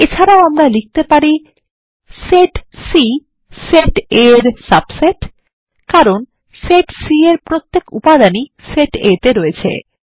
এছাড়াও আমরা লিখতে পারি160 সেট সি সেট A -এর সাবসেট কারণ সেট C এর প্রত্যেক উপাদানই সেট A তে রয়েছে